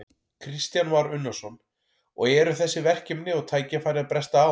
Kristján Már Unnarsson: Og eru þessi verkefni og tækifæri að bresta á?